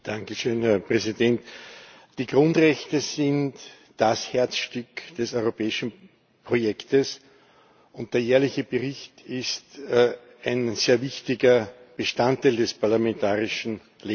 Herr Präsident! Die Grundrechte sind das Herzstück des europäischen Projekts, und der jährliche Bericht ist ein sehr wichtiger Bestandteil des parlamentarischen Lebens.